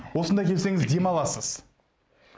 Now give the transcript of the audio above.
осында келсеңіз демаласыз